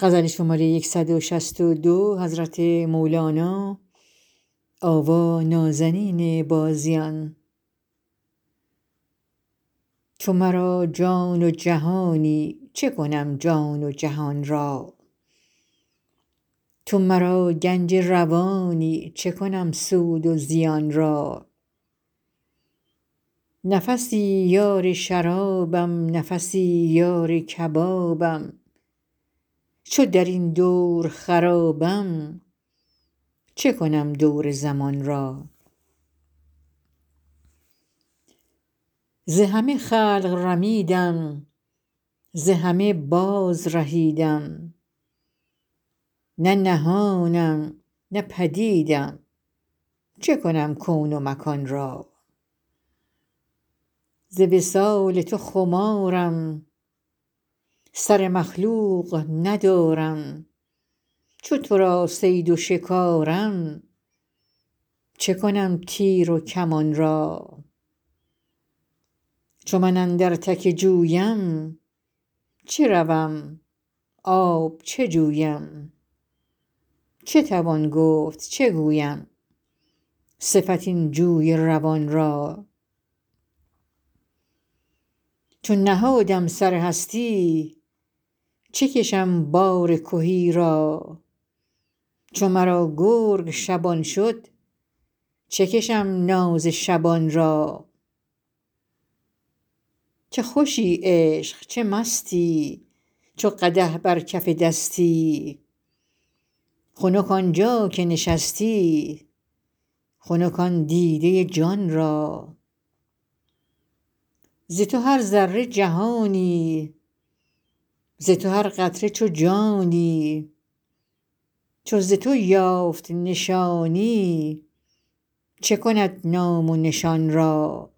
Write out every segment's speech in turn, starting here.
تو مرا جان و جهانی چه کنم جان و جهان را تو مرا گنج روانی چه کنم سود و زیان را نفسی یار شرابم نفسی یار کبابم چو در این دور خرابم چه کنم دور زمان را ز همه خلق رمیدم ز همه بازرهیدم نه نهانم نه پدیدم چه کنم کون و مکان را ز وصال تو خمارم سر مخلوق ندارم چو تو را صید و شکارم چه کنم تیر و کمان را چو من اندر تک جویم چه روم آب چه جویم چه توان گفت چه گویم صفت این جوی روان را چو نهادم سر هستی چه کشم بار کهی را چو مرا گرگ شبان شد چه کشم ناز شبان را چه خوشی عشق چه مستی چو قدح بر کف دستی خنک آن جا که نشستی خنک آن دیده جان را ز تو هر ذره جهانی ز تو هر قطره چو جانی چو ز تو یافت نشانی چه کند نام و نشان را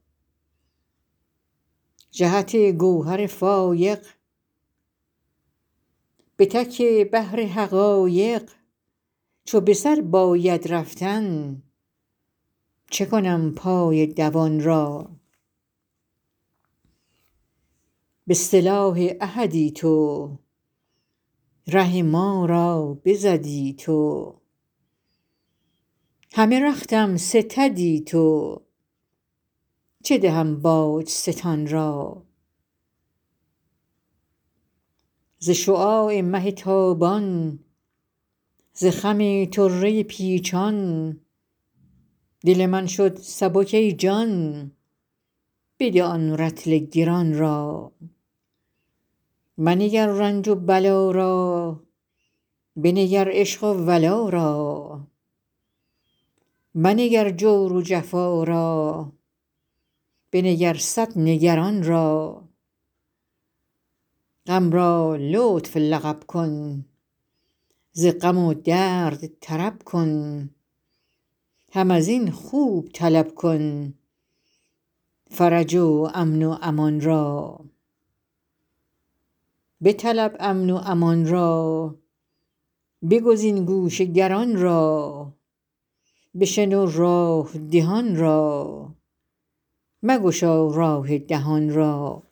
جهت گوهر فایق به تک بحر حقایق چو به سر باید رفتن چه کنم پای دوان را به سلاح احدی تو ره ما را بزدی تو همه رختم ستدی تو چه دهم باج ستان را ز شعاع مه تابان ز خم طره پیچان دل من شد سبک ای جان بده آن رطل گران را منگر رنج و بلا را بنگر عشق و ولا را منگر جور و جفا را بنگر صد نگران را غم را لطف لقب کن ز غم و درد طرب کن هم از این خوب طلب کن فرج و امن و امان را بطلب امن و امان را بگزین گوش گران را بشنو راه دهان را مگشا راه دهان را